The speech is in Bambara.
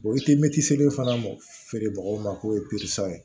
i ti mɛtiri fana mɔ feerebagaw ma k'o ye